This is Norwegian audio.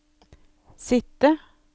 sitte